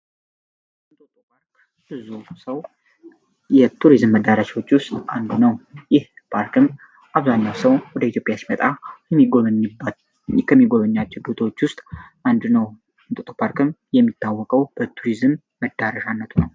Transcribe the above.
እንጦጦ ፓርክ ብዙ ሰው የቱሪዝም መዳረሾች ውስጥ አንዱ ነው፡፡ ይህ ፓርክም አብዛኛው ሰው ወደ ኢትዮጵያ ሲመጣ የሚባት ከሚጎበኛችብቶች ውስጥ አንዱ ነው፡፡ እንጦጦ ፓርክም የሚታወቀው በቱሪዝም መዳረሻነቱ ነው፡፡